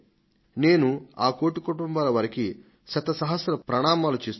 నేను ఆ కోటి కుటుంబాల వారికి శత సహస్ర ప్రణామాలు చేస్తున్నాను